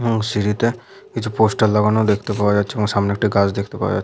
এবং সিঁড়িটা কিছু পোস্টার লাগানো দেখতে পাওয়া যাচ্ছে এবং সামনে একটি গাছ দেখতে পাওয়া যাচ্ছে--